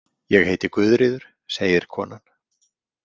Ég heiti Guðríður, segir konan.